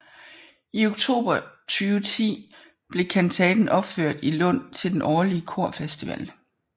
I oktober 2010 blev kantaten opført i Lund til den årlige korfestival